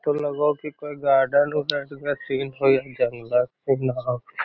इ ते लगे हेय कोई गार्डन उर्डन के सीन होअ या जंगल सीन होअ।